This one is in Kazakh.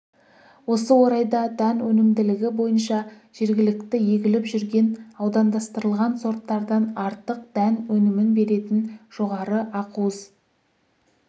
осы орайда дән өнімділігі бойынша жергілікті егіліп жүрген аудандастырылған сорттардан артық дән өнімін беретін жоғары ақуыз